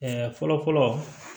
fɔlɔ fɔlɔ